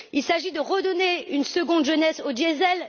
S'agit il de redonner une seconde jeunesse au diesel?